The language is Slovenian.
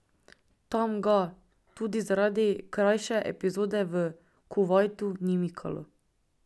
Tam ga, tudi zaradi krajše epizode v Kuvajtu, ni mikalo.